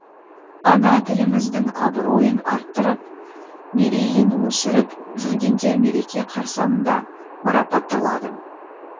ана тіліміздің абыройын арттырып мерейін өсіріп жүргендер мереке қарсаңында марапатталды